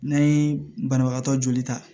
N'an ye banabagatɔ joli ta